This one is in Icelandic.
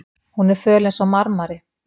Hún er föl einsog marmari.